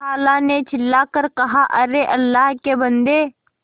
खाला ने चिल्ला कर कहाअरे अल्लाह के बन्दे